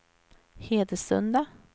Hedesunda